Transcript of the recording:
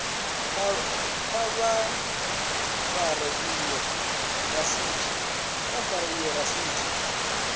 kha vha fare iyo rasiti